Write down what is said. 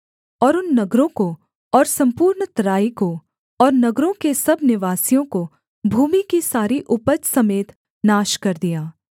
और उन नगरों को और सम्पूर्ण तराई को और नगरों के सब निवासियों को भूमि की सारी उपज समेत नाश कर दिया